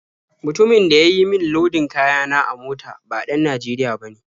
Mutumin da ya yi min lodin kaya na a mota ba ɗan Najeriya bane.